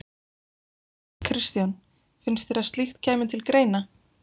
Kristján: Finnst þér að slíkt kæmi til greina?